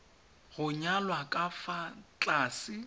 go nyalwa ka fa tlase